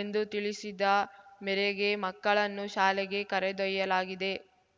ಎಂದು ತಿಳಿಸಿದ ಮೆರೆಗೆ ಮಕ್ಕಳನ್ನು ಶಾಲೆಗೆ ಕರೆದೊಯ್ಯಲಾಗಿದೆ